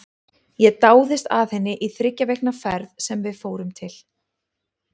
Ég dáðist að henni í þriggja vikna ferð sem við fórum til